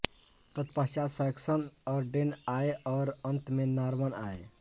तत्पश्चात् सैक्सन और डेन आए और अंत में नॉर्मन आए